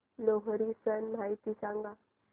लोहरी सण माहिती सांगा